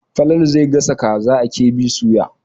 Falalu zai gasa kaza a KB soya.